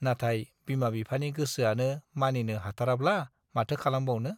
नाथाय बिमा-बिफानि गोसोआनो मानिनो हाथाराब्ला माथो खालामबावनो।